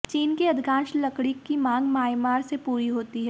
चीन की अधिकांश लकड़ी की मांग म्यांमार से पूरी होती है